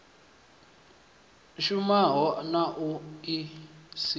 shumaho na i si na